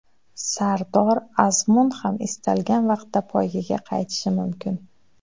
Sardor Azmun ham istalgan vaqtda poygaga qaytishi mumkin.